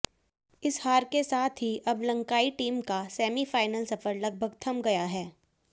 इस हार के साथ ही अब लंकाई टीम का सेमीफाइनल सफर लगभग थम गया है